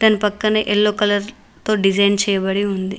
పక్కన yellow colour తో design చేయబడి ఉంది.